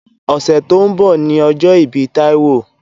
Òsè tó n bò ni òjò ibi Taiwo